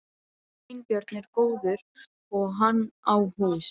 Sveinbjörn er góður og hann á hús.